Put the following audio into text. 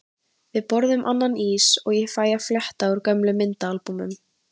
Við borðum annan ís og ég fæ að fletta gömlum myndaalbúmum.